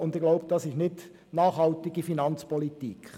Ich denke, das ist keine nachhaltige Finanzpolitik.